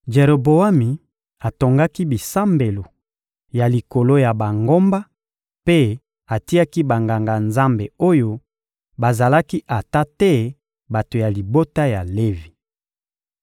Jeroboami atongaki bisambelo ya likolo ya bangomba mpe atiaki banganga-nzambe oyo bazalaki ata te bato ya libota ya Levi.